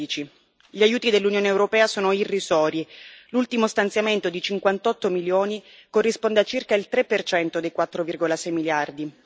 2016. Gli aiuti dell'Unione europea sono irrisori l'ultimo stanziamento di 58 milioni corrisponde a circa il 3 dei 4,6 miliardi.